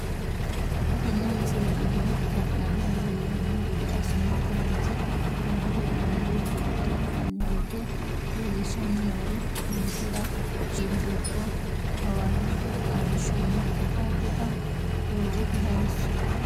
Xa tenne missile aana la'nara leellanno gede assine kayiinse worre hee'noonniri buunxe la'nanni woyiite leellishshanni noori ninkera shiima dubbo, hawarri arrishshonna arrita doogote hayiisso.